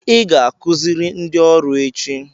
Ị ga-akụziri ndị ọrụ echi.